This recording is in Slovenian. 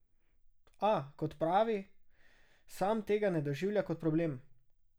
A, kot pravi, sam tega ne doživlja kot problem.